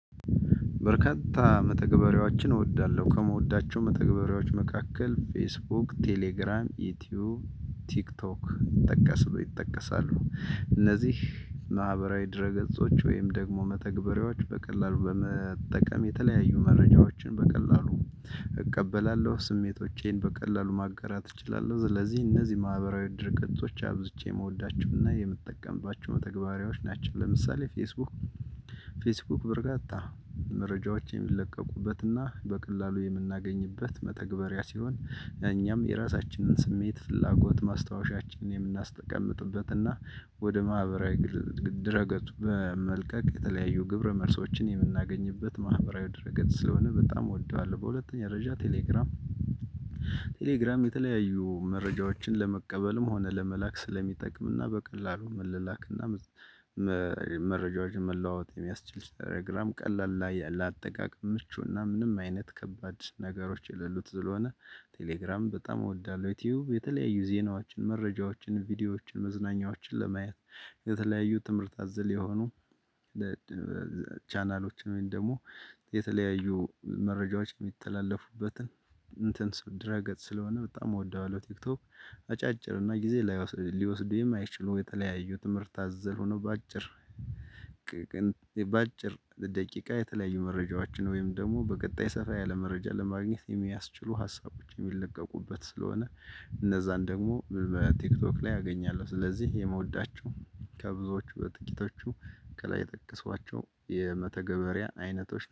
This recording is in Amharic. በርካታ መተግበሪያዎችን እወዳለሁ። ከምወዳቸው መተግበሪያዎች መካከል ፌስቡክ፣ ቴሌግራም፣ ዩቲዩብ፣ ቲክቶክ ጠቀሱ ይጠቀሳሉ። እነዚህ ማህበራዊ ድረ ገጾች ወይም ደግሞ መተግበሪያዎች በቀላሉ በመጠቀም የተለያዩ መረጃዎችን በቀላሉ እቀበላለሁ። ስሜቶቼን በቀላሉ ማጋራት እችላለሁ። ስለዚህ እነዚህ ማህበራዊ ድረገጾች አብዝቼ የምወዳቸውና የምትጠቀምባቸው መተግበሪያዎች ናቸው። ለምሳሌ ፌስቡክ ፌስቡክ በርካታ መረጃዎች የሚለቀቁበትና በቀላሉ የምናገኝበት መተግበሪያ ሲሆን፤ እኛም የራሳችንን ስሜት ፍላጎት ማስታወሻችንን የምናስቀምጥበትና ወደ ማህበራዊ ድረፁቱ በመልቀቅ የተለያዩ ግብረ መልሶችን የምናገኝበት ማህበራዊ ድረገጽ ስለሆነ በጣም እወደዋለሁ። በሁለተኛ ደረጃ ቴሌግራም ቴሌግራም የተለያዩ መረጃዎችን ለመቀበልም ሆነ ለመላክ ስለሚጠቅምና በቀላሉ መለላክና መረጃዎችን መለዋወጥ የሚያስችል ቴሌግራም ቀላል ላይ ለአጠቃቀም ምቹና ምንም አይነት ከባድ ነገሮች የሌሉት ስለሆነ ቴሌግራም በጣም እወዳለሁ። ዩቲዩብ የተለያዩ ዜናዎችን መረጃዎችን ቪዲዮዎችን መዝናኛዎችን ለማየት የተለያዩ ትምህርት አዘል የሆኑ ቻናሎችን ወይም ደግሞ የተለያዩ መረጃዎች የሚተላለፉበትን እንትን ድረ ገጽ ስለሆነ በጣም እወደዋለሁ። ቲክቶክ አጫጭር እና ጊዜ ሊወስዱ የማይችሉ የተለያዩ ትምህርት አዘል ሆነው በአጭር በአጭር ደቂቃ የተለያዩ መረጃዎችን ወይም ደግሞ በቀጣይ ሰፋ ያለ መረጃ ለማግኘት የሚያስችሉ ሀሳቦች የሚለቀቁበት ስለሆነ እነዛን ደግሞ በቲክቶክ ላይ አገኛለሁ። ስለዚህ የምወዳቸው ከብዙዎቹ በጥቂቶቹ ከላይ የጠቀሷቸው የመተገበሪያ አይነቶች